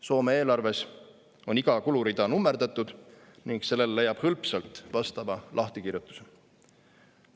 Soome eelarves on iga kulurida nummerdatud ning sellele leiab hõlpsalt vastava lahtikirjutuse.